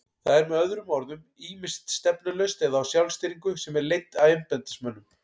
Það er með öðrum orðum ýmist stefnulaust eða á sjálfstýringu sem er leidd af embættismönnum.